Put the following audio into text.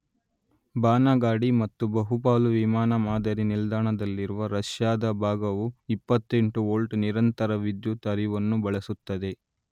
ಬಾನಗಾಡಿ ಮತ್ತು ಬಹುಪಾಲು ವಿಮಾನ ಮಾದರಿ ನಿಲ್ದಾಣದಲ್ಲಿರುವ ರಷ್ಯಾದ ಭಾಗವು 28 ವೋಲ್ಟ್ ನಿರಂತರ ವಿದ್ಯುತ್ ಹರಿವುನ್ನು ಬಳಸುತ್ತದೆ.